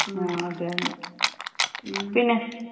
ആ അതന്നെ. പിന്നെ?